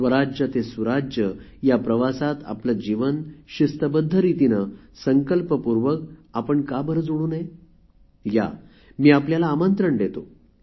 स्वराज्य ते सुराज्य या प्रवासात आपले जीवन शिस्तबद्ध रितीने संकल्पपूर्वक आपण का बरे जोडू नये या मी आपल्याला आमंत्रण देतो